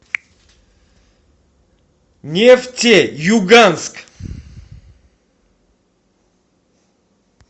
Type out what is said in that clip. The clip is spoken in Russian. нефтеюганск